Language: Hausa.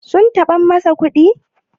sum taɓa masa kuɗi?